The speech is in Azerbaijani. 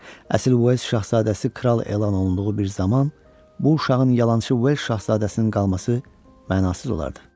Əsl Vels şahzadəsi kral elan olunduğu bir zaman bu uşağın yalançı Vels şahzadəsinin qalması mənasız olardı.